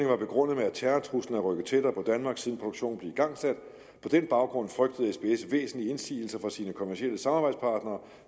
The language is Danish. var begrundet med at terrortruslen er rykket tættere på danmark siden produktionen blev igangsat på den baggrund frygtede sbs væsentlige indsigelser fra sine kommercielle samarbejdspartnere